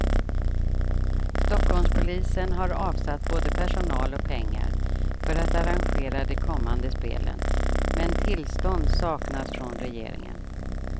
Stockholmspolisen har avsatt både personal och pengar för att arrangera de kommande spelen, men tillstånd saknas från regeringen.